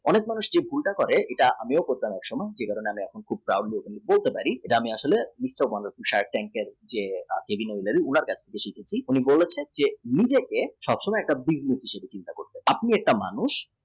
অনকে যে ভুল টা করে সেটা আমিও ভীষন করতাম নিজেকে সব সময় একটা business হিসাবে treat করুন আপনি একটা মানুষ